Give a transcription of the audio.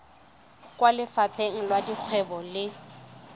kwa lefapheng la dikgwebo le